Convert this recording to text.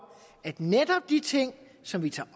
at netop de ting som vi tager